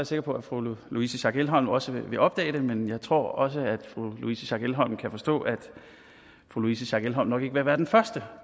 sikker på at fru louise schack elholm også vil opdage det men jeg tror også at fru louise schack elholm kan forstå at fru louise schack elholm nok ikke vil være den første